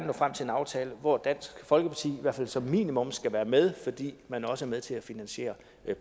nå frem til en aftale hvor dansk folkeparti i hvert fald som minimum skal være med fordi man også er med til at finansiere